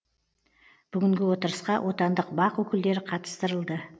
бүгінгі отырысқа отандық бақ өкілдері қатыстырылды